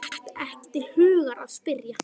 Datt ekki til hugar að spyrja.